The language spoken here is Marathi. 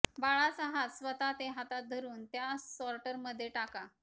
बाळाचा हात स्वतः ते हातात धरून त्या सॉर्टर मध्ये टाका